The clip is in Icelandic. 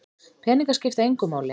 Peningar skipta engu máli